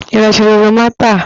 Ị rachaala oroma taa?